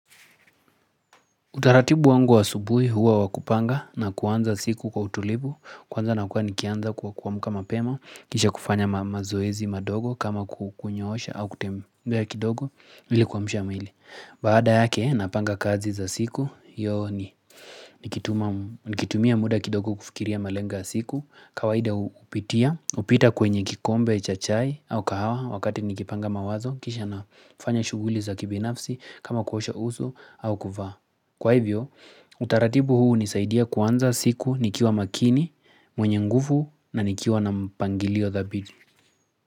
Utaratibu wangu wa asubuhi huwa wa kupanga na kuanza siku kwa utulivu, kwanza na kuwa nikianza kwa kuamka mapema, kisha kufanya mazoezi madogo kama kunyoosha au kutembea kidogo ili kuamsha mwili. Baada yake, napanga kazi za siku, hiyo ni, nikitumia muda kidogo kufikiria malengo siku, kawaida hupitia, hupita kwenye kikombe cha chai au kahawa wakati nikipanga mawazo, kisha nafanya shughuli za kibinafsi kama kuosha uso au kuvaa. Kwa hivyo, utaratibu huu hunisaidia kuanza siku nikiwa makini, mwenye nguvu na nikiwa na mpangilio thabiti.